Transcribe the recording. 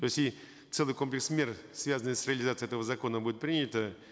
то есть и целый комплекс мер связанных с реализацией этого закона будут приняты